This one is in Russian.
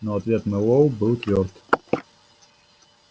но ответ мэллоу был твёрд